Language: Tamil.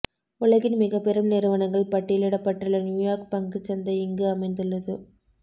உலகின் மிகப்பெரும் நிறுவனங்கள் பட்டியலிடப்பட்டுள்ள நியூயார்க் பங்குச் சந்தை இங்கு அமைந்துள்ளது